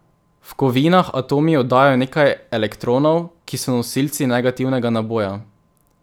V kovinah atomi oddajo nekaj elektronov, ki so nosilci negativnega naboja.